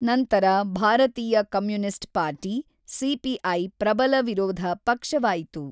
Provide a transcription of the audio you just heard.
ನಂತರ ಭಾರತೀಯ communist party, CPI ಪ್ರಬಲ ವಿರೋಧ ಪಕ್ಷವಾಯಿತು.